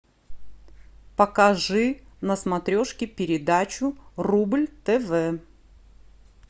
покажи на смотрешке передачу рубль тв